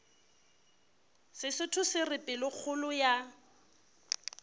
sesotho se re pelokgolo ya